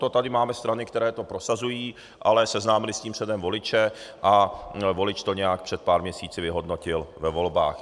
To tady máme strany, které to prosazují, ale seznámily s tím předem voliče a volič to nějak před pár měsíci vyhodnotil ve volbách.